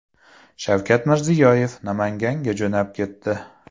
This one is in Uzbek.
Shavkat Mirziyoyev Namanganga jo‘nab ketdi.